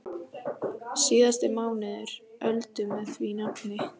Síðasti mánuður Öldu með því nafni.